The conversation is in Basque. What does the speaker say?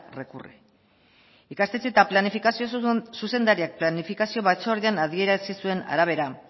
recurre ikastetxe eta planifikazio zuzendariak planifikazio batzordean adierazi zuen arabera